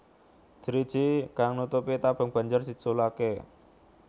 Driji kang nutupi tabung banjur diculaké